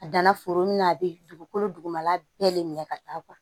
A danna foro min na a bɛ dugukolo dugumala bɛɛ de minɛ ka taa